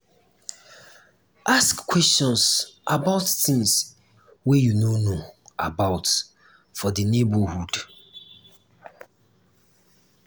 ask questions about things wey you no know about for di neighbourhood